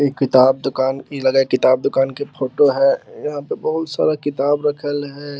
इ किताब दुकान की लग है किताब दूकान की फोटो है | यहाँ पे बहुत सारा किताब रखल है।